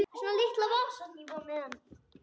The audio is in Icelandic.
Hver var hún?